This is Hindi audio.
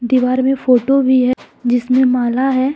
दीवार में फोटो भी है जिसमें माला है।